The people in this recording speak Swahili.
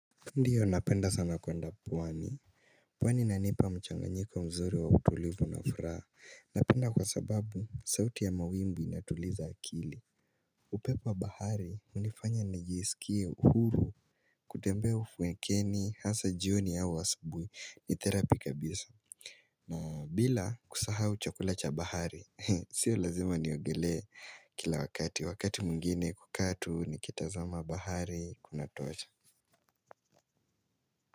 Ndiyo napenda sana kwenda pwani pwani inanipa mchanganyiko mzuri wa utulivu na furaha Napenda kwa sababu sauti ya mawimbi inatuliza akili upepo wa bahari hunifanya nijisikie uhuru kutembea ufukweni hasa jioni au asabuhi ni therapy kabisa na bila kusahau chakula cha bahari Sio lazima niogelee kila wakati Wakati mwingine hukaa tu nikitazama bahari kunatosha.